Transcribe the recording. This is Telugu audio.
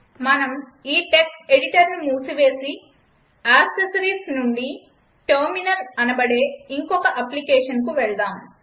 మనం ఈ టెక్స్ట్ ఎడిటర్ను మూసివేసి అక్సస్సరీస్ నుండి టెర్మినల్ అనబడే యింకొక అప్లికేషన్కు వెళ్దాం